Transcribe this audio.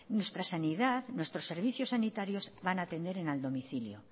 nuestra sanidad nuestros servicios sanitarios van a atender en el domicilio